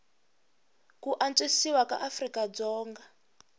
ku antswisiwa ka afrika dzonga